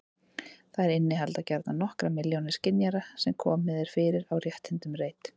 Þær innihalda gjarnan nokkrar milljónir skynjara sem komið er fyrir á rétthyrndum reit.